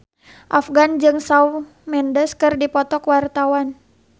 Afgan jeung Shawn Mendes keur dipoto ku wartawan